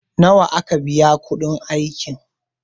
nawa aka biya kudin aikin?